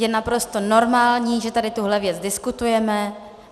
Je naprosto normální, že tady tuhle věc diskutujeme.